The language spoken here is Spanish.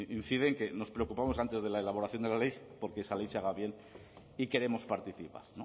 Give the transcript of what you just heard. incide en que nos preocupamos antes de la elaboración de la ley porque esa ley se haga bien y queremos participar